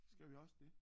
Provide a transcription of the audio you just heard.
Skal vi også det